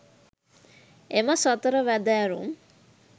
එම සතර වැදෑරුම්